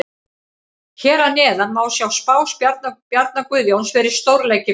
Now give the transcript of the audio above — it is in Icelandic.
Hér að neðan má sjá spá Bjarna Guðjóns fyrir stórleiki kvöldsins.